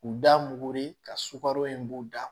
U da mugu ye ka sukaro in b'u da